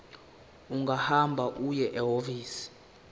ungahamba uye ehhovisi